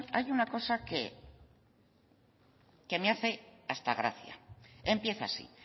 hay una cosa que me hace hasta gracia empieza así